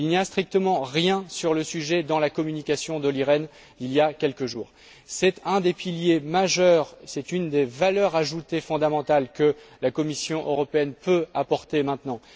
Il n'y a strictement rien sur le sujet dans la communication d'Olli Rehn publiée il y a quelques jours. C'est un des piliers majeurs, c'est une des valeurs ajoutées fondamentales que la Commission européenne peut apporter maintenant.